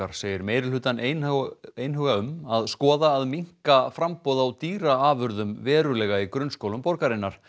segir meirihlutann einhuga einhuga um að skoða að minnka framboð á dýraafurðum verulega í grunnskólum borgarinnar